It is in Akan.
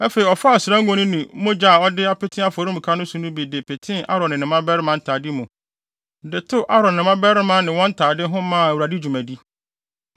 Afei ɔfaa ɔsra ngo no ne mogya a ɔde apete afɔremuka no so no bi de petee Aaron ne ne mmabarima ntade mu de tew Aaron ne ne mmabarima ne wɔn ntade ho maa Awurade dwumadi.